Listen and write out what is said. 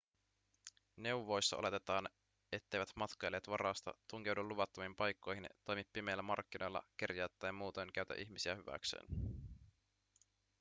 neuvoissa oletetaan etteivät matkailijat varasta tunkeudu luvattomiin paikkoihin toimi pimeillä markkinoilla kerjää tai muutoin käytä ihmisiä hyväkseen